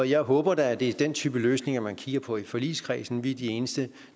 jeg håber da at det er den type løsninger man kigger på i forligskredsen vi er de eneste